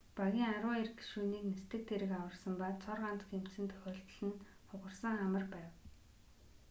багийн арван хоёр гишүүнийг нисдэг тэрэг аварсан ба цор ганц гэмтсэн тохиолдол нь хугарсан хамар байв